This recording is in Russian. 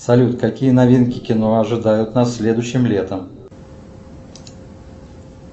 салют какие новинки кино ожидают нас следующим летом